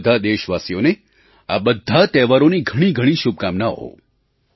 બધાં દેશવાસીઓને આ બધા તહેવારોની ઘણી ઘણી શુભકામનાઓ